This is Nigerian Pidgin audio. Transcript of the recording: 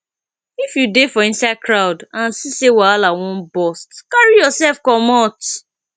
if you dey for inside crowd and see sey wahala wan burst carry yourself comot